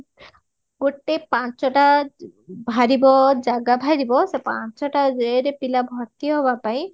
ଗୋଟେ ପାଞ୍ଚଟା ଭାରିବ ଜାଗା ଭାରିବା ସେ ପଞ୍ଚଟା ଇଏରେ ପିଲା ଭର୍ତି ହବା ପାଇଁ